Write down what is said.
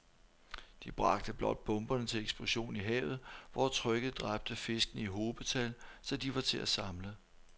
De bragte blot bomberne til eksplosion i havet, hvor trykket dræbte fiskene i hobetal, så de var til at samle